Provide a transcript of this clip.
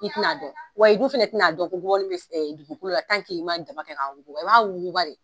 I tina a dɔn wa i dun fana tina a dɔn ko gɔbɔnin bɛ dugukolo la n'i ma daba kɛ k'a wuguba i b'a wuguba de.